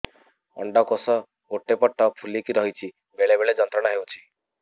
ଅଣ୍ଡକୋଷ ଗୋଟେ ପଟ ଫୁଲିକି ରହଛି ବେଳେ ବେଳେ ଯନ୍ତ୍ରଣା ହେଉଛି